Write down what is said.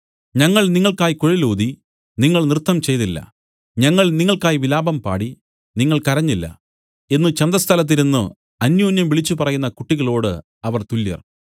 ഞങ്ങൾ നിങ്ങൾക്കായി കുഴലൂതി നിങ്ങൾ നൃത്തംചെയ്തില്ല ഞങ്ങൾ നിങ്ങൾക്കായി വിലാപം പാടി നിങ്ങൾ കരഞ്ഞില്ല എന്നു ചന്തസ്ഥലത്ത് ഇരുന്നു അന്യോന്യം വിളിച്ചുപറയുന്ന കുട്ടികളോട് അവർ തുല്യർ